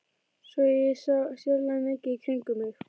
Svo ég sá ekki sérlega mikið í kringum mig.